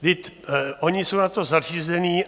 Vždyť oni jsou na to zařízení.